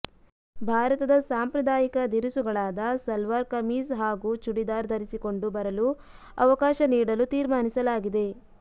ಭಾರತದ ಸಾಂಪ್ರದಾಯಿಕ ಧಿರಿಸುಗಳಾದ ಸಲ್ವಾರ್ ಕಮೀಜ್ ಹಾಗೂ ಚೂಡಿದಾರ್ ಧರಿಸಿಕೊಂಡು ಬರಲು ಅವಕಾಶ ನೀಡಲು ತೀರ್ಮಾನಿಸಲಾಗಿದೆ